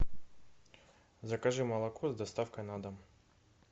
закажи молоко с доставкой на дом